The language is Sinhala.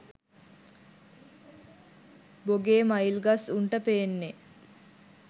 බොගේ මයිල් ගස් උන්ට පෙන්නේ